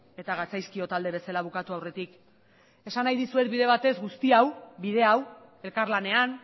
eta gatzaizkio talde bezala bukatu aurretik esan nahi dizuet bide batez guzti hau bide hau elkarlanean